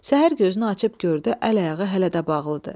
Səhər gözünü açıb gördü əl-ayağı hələ də bağlıdır.